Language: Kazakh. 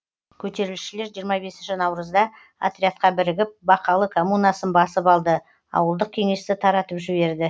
көтерілісшілер жиырма бесінші наурызда отрядқа бірігіп бақалы коммунасын басып алды ауылдық кеңесті таратып жіберді